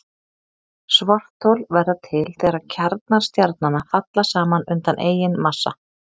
Svarthol verða til þegar kjarnar stjarnanna falla saman undan eigin massa.